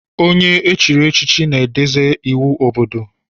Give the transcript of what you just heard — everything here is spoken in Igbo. Onye echiri echichi na-edebz iwu obodo.